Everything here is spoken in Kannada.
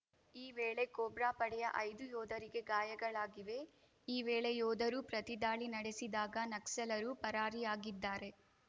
ಈ ವೇಳೆ ಕೋಬ್ರಾ ಪಡೆಯ ಐದು ಯೋಧರಿಗೆ ಗಾಯಗಳಾಗಿವೆ ಈ ವೇಳೆ ಯೋಧರೂ ಪ್ರತಿದಾಳಿ ನಡೆಸಿದಾಗ ನಕ್ಸಲರು ಪರಾರಿಯಾಗಿದ್ದಾರೆ